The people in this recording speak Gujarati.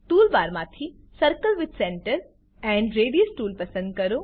ટૂલ બારમાંથી circle with centre and radius tool પસંદ કરો